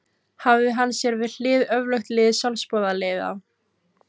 Hafði hann sér við hlið öflugt lið sjálfboðaliða.